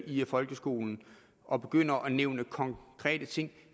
i folkeskolen og begynder at nævne konkrete ting